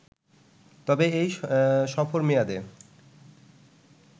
তবে এই সফর মেয়াদে